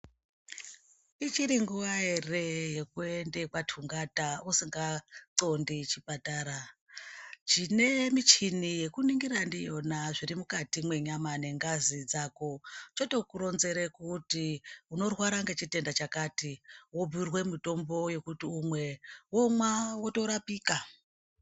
Ichiri nguwa here yekuenda kwatungata usinga xondi chipatara chine michini yekuningira ndiyona zviri mukati mwenyama nge ngazi dzako choto kuronzera kuti unorwara ngechitenda chakati wobhuyirwa mitombo yekuti umwe womwa wotorapika.